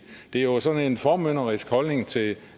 det er jo sådan en formynderisk holdning til